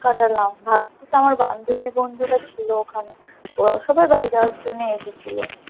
কাটালাম ভাগ্যিস আমার বান্ধবী-বন্ধুরা ছিল ওখানে ওরাও সবাই বাড়ি যাওয়ার জন্যে এসেছিলো।